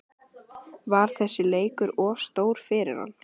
Var þessi leikur of stór fyrir hann?